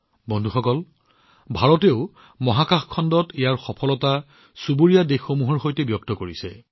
বন্ধুসকল ভাৰতে মহাকাশ খণ্ডত ইয়াৰ সফলতা ইয়াৰ চুবুৰীয়া দেশসমূহৰ সৈতেও ভাগবতৰা কৰি আছে